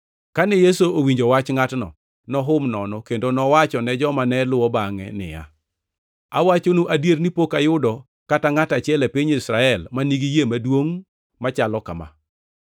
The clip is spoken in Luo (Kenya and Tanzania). Kane Yesu owinjo wach ngʼatno, nohum nono kendo nowachone joma ne luwo bangʼe niya, “Awachonu adier ni pok ayudo kata ngʼat achiel e piny Israel ma nigi yie maduongʼ machal kama.